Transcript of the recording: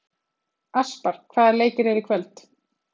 Aspar, hvaða leikir eru í kvöld?